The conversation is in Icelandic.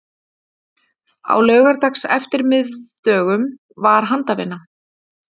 Á laugardagseftirmiðdögum var handavinna.